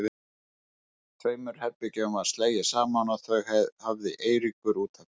Tveimur herbergjum var slegið saman og þau hafði Eiríkur út af fyrir sig.